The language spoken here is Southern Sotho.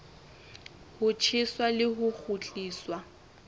ho tjheswa le ho kgutliswa